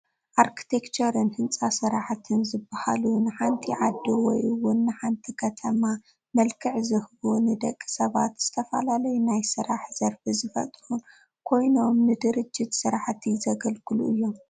ኣርክቴክቸርን ህንፃ ስራሕትን ዝባሃሉ ንሓንቲ ዓዲ ወይ እውን ንሓደ ከተማ መልክዕ ዝህቡን ንደቂ ሰባት ዝተፈላለዩ ናይ ስራሕ ዘርፊ ዝፈጥሩን ኮይኖም ንድርጅት ስራሕቲ ዘገልግሉ እዮም፡፡